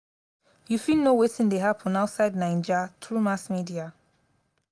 you fit know wetin dey happen outside naija through mass media.